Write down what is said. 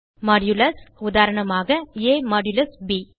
Modulus உதாரணமாக ab